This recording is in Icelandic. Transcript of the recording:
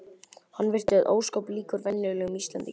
Hann virtist ósköp líkur venjulegum Íslendingi.